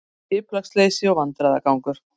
Skipulagsleysi og vandræðagangur